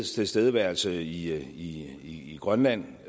tilstedeværelse i grønland